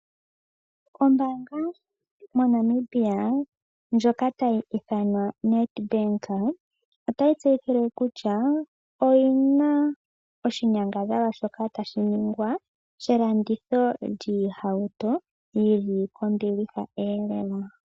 Ombanga moNamibia ndjoka tayi ithanwa Ned Bank ota yi tseyithile kutya oyi na oshinyangadhalwa shoka tashi ningwa shelanditho lyoohauto yi li kombiliha lela.